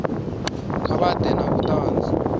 kha vha ḓe na vhuṱanzi